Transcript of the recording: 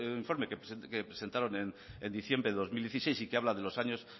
informe que presentaron en diciembre de dos mil dieciséis y que habla de los años